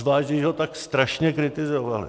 Zvlášť když ho tak strašně kritizovali.